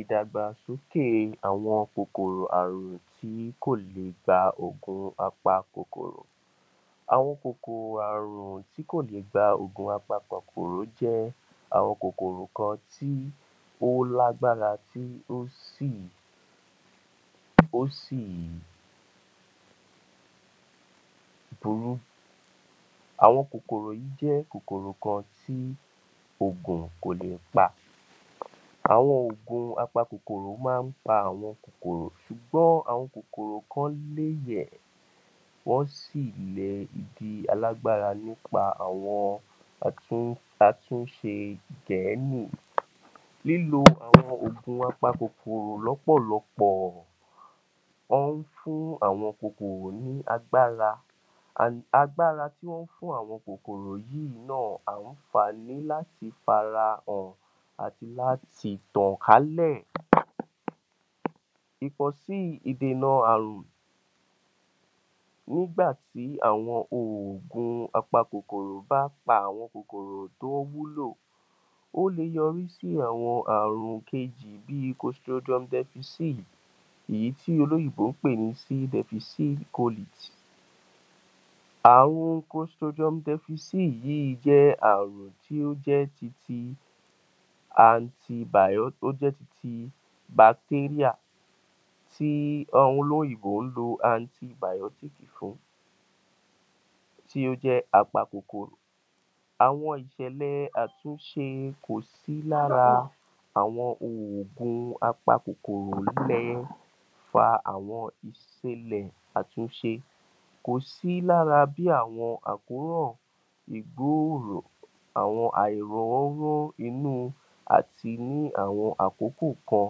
Ìdàgbàsókè àwọn kòkòrò àrùn tí kò lè gba oògùn a pa kòkòrò. Àwọn kòkòrò àrùn tí kò lè gba oògùn a pa kòkòrò àrùn jẹ́ àwọn kòkòrò kan tí ó lágbára tí ó sì, ó sì burú, àwọn kòkòrò yìí jẹ́ kòkòrò kan tí ògùn kò lè pa, àwọn ògùn a pa kòkòrò máa ń pa àwọn kòkòrò, ṣùgbọ́n àwọn kòkòrò kan lè yẹ̀ wọn sì lè di alágbára nípa àwọn àtúnṣe gẹ̀ẹ́nì, lílo àwọn ògùn a pa kòkòrò lọ́pọ̀lọpọ̀, wọ́n ń fún àwọn kòkòrò ní agbára, [cm],agbára tí wọ́n ń fún àwọn kòkòrò yìí náà ń fún wọn ní àǹfààní láti farahàn àti láti tàn kálẹ̀, ìbòsí ìdènà aàrùn nígbà tí àwọn ògùn a pa kòkòrò bá pa àwọn kòkòrò tó wúlò, ó le yọrí sí àwọn aàrùn kejì bi, [cm], èyí tí olóyìnbó ń pè ní [cm]. Aàrùn [cm] yìí jẹ́ aàrùn tí ó jẹ́ ti [cm] tí àwọn olóyìnbó ń lo [cm] fún tí ó jẹ́ a pa kòkòrò, àwọn ìṣẹ̀lẹ̀ àtúnṣe kò sí lára àwọn oògùn a pa kòkòrò èyí le fa àwọn ìṣẹlẹ̀ àtúnṣe, kò sí lára bí àwọn àkórọ̀ ìgbóòrò àwọn àìlọ́wọ́rọ́ inú àti ní àwọn àkókò kan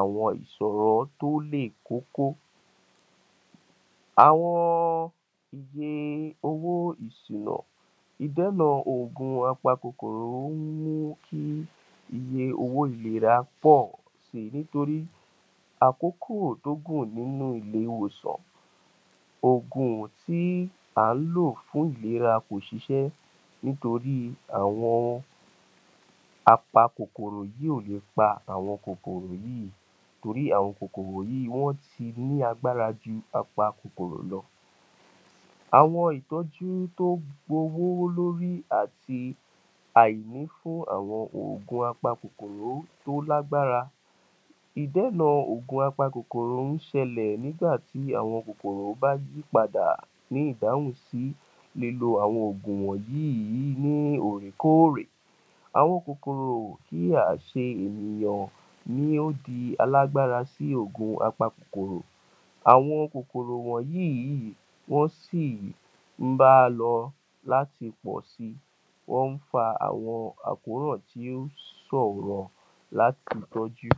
àwọn ìṣọ́ tó lè kókó. Àwọn iye owó ìsẹ́nà, ìdénà oògùn a pa kòkòrò ó ń mú kí iye owó ìlera pọ̀ si nítorí àkókò tó gùn nínú ilé ìwòsàn, oògùn tí à ń lò fún ìlera kò ṣiṣẹ́ nítorí àwọn a pa kòkòrò yìí ò lè pa àwọn kòkòrò yìí, nítorí àwọn kòkòrò yìí wọ́n ti ní agbára ju a pa kòkòrò lọ. Àwọn ìtọ́jú tó gbé owó lórí àti àwọn àìnífún oògùn a pa kòkòrò tó lágbára, ìdénà oògùn a pa kòkòrò máa ń ṣẹlẹ̀ nígbà tí àwọn oògùn a pa kòkòrò bá yí padà ní ìdáhùn sí lílo àwọn oògùn wọ̀nyí yí ní òòrè kóòrè. Àwọn kòkòrò kí a ṣe ènìyàn ni ó di alágbára sí oògùn a pa kòkòrò, àwọn kòkòrò wọ̀nyí yí wọ́n sì ń bá lọ láti pọ̀ si wọ́n ń fa àwọn àkóràn tí ó sòrọ láti tọ́jú.